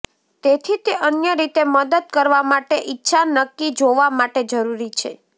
તેથી તે અન્ય રીતે મદદ કરવા માટે ઇચ્છા નક્કી જોવા માટે જરૂરી છે